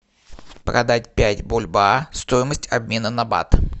продать пять бальбоа стоимость обмена на бат